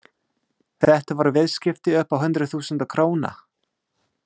Þetta voru viðskipti upp á hundruð þúsunda króna.